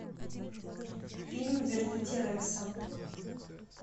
фильм верните рекса